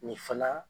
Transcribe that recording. Nin fana